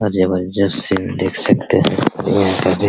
और जबरदस्त सिन देख सकते है और --